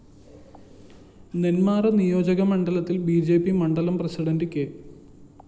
നെന്മാറ നിയോജകമണ്ഡലത്തില്‍ B J P മണ്ഡലം president K